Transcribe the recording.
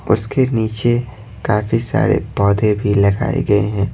उसके नीचे काफी सारे पौधे भी लगाए गए हैं।